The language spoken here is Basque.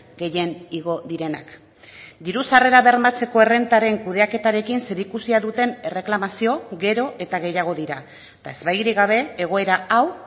gehien igo direnak diru sarrerak bermatzeko errentaren kudeaketarekin zerikusia duten erreklamazio gero eta gehiago dira eta ezbairik gabe egoera hau